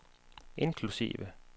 inklusive